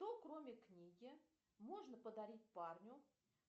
что кроме книги можно подарить парню